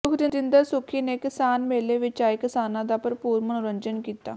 ਸੁਖਵਿੰਦਰ ਸੁੱਖੀ ਨੇ ਕਿਸਾਨ ਮੇਲੇ ਵਿੱਚ ਆਏ ਕਿਸਾਨਾਂ ਦਾ ਭਰਪੂਰ ਮਨੋਰੰਜਨ ਕੀਤਾ